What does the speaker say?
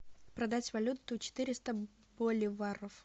продать валюту четыреста боливаров